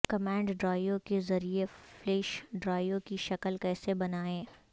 command drive کے ذریعہ flash drive کی شکل کیسے بنائیں